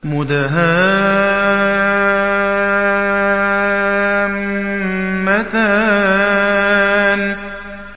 مُدْهَامَّتَانِ